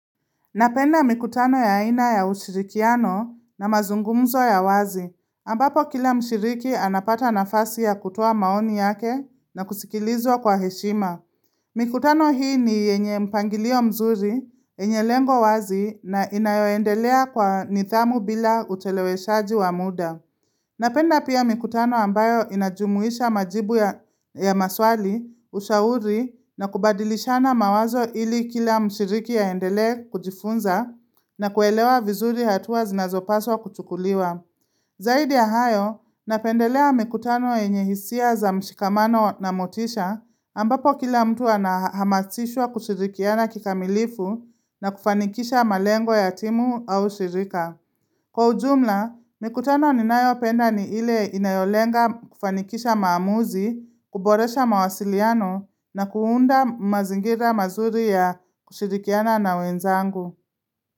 Napenda mikutano ya aina ya ushirikiano na mazungumzo ya wazi. Ambapo kila mshiriki anapata nafasi ya kutoa maoni yake na kusikilizwa kwa heshima. Mikutano hii ni yenye mpangilio mzuri, yenye lengo wazi na inayoendelea kwa nidhamu bila ucheleweshaji wa muda. Napenda pia mikutano ambayo inajumuisha majibu ya maswali, ushauri na kubadilishana mawazo ili kila mshiriki aendelee kujifunza na kuelewa vizuri hatua zinazopaswa kuchukuliwa. Zaidi ya hayo, napendelea mikutano yenye hisia za mshikamano na motisha, ambapo kila mtu anahamasishwa kushirikiana kikamilifu na kufanikisha malengo ya timu au shirika. Kwa ujumla, mikutano ninayopenda ni ile inayolenga kufanikisha maamuzi, kuboresha mawasiliano na kuunda mazingira mazuri ya kushirikiana na wenzangu.